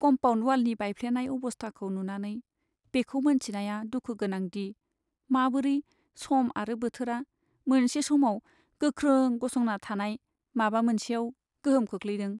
Compound वालनि बायफ्लेनाय अबस्थाखौ नुनानै, बेखौ मोनथिनाया दुखु गोनां दि माबोरै सम आरो बोथोरा मोनसे समाव गोख्रों गसंना थानाय माबा मोनसेयाव गोहोम खोख्लैदों।